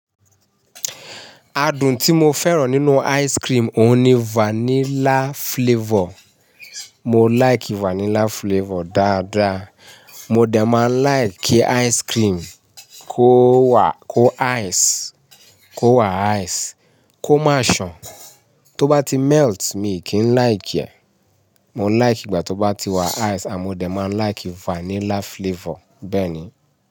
Adùn tí mo fẹ́ràn nínú ice cream òun ni vanilla flavour. Mo like vanilla flavour dáadáa. Mo dè má like kí ice cream kó wà kó ice kó wà ice kó máa sàn. Tó bá ti melt mi kì í like ẹ̀. Mo like ìgbà tó bá ti wà ice à mo dè má like vanilla flavour bẹ́ẹ̀ ni.